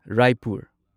Raipur